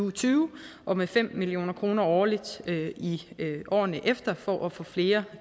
og tyve og med fem million kroner årligt i årene efter for at få flere